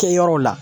Kɛ yɔrɔ la